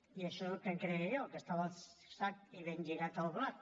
i això és el que em creia jo que estava al sac i ben lligat el blat